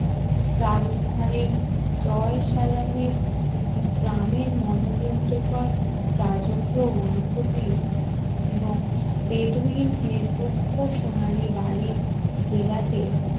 রাজস্থানের জয় সালামের একটি গ্রামের মনোমুগ্ধ কর রাজকীয় অনুভূতি এবং এবং বেদুইন এর রুক্ষ সোনালী বালির জেলাতে,